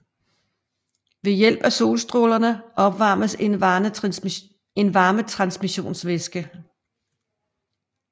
Ved hjælp af solstrålerne opvarmes en varmetransmissionsvæske